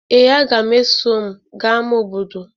Ee, aga m eso m gaa ama obodo